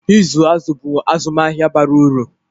ịzụ azụ̀ bụ azụmahịa bara uru